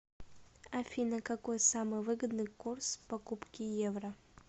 афина какой самый выгодный курс покупки евро